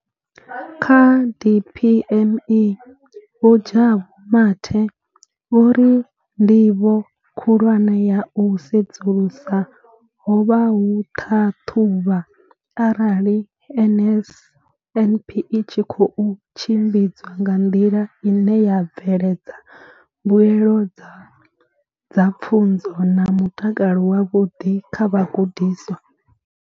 Kha DPME, Vho Jabu Mathe, vho ri ndivho khulwane ya u sedzulusa ho vha u ṱhaṱhuvha arali NSNP i tshi khou tshimbidzwa nga nḓila ine ya bveledza mbuelo dza pfunzo na mutakalo wavhuḓi kha vhagudiswa.